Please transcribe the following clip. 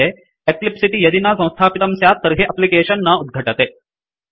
eclipse इति यदि न संस्थापितं स्यात् तर्हि अप्लिकेशन् न उद्घटते